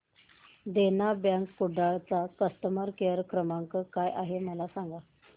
देना bank Kudal चा customer care क्रमांक काय आहे मला सांगा